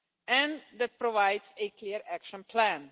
and that provides a clear action plan.